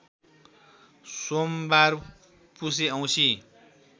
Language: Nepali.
सोमबार पुसे औँसी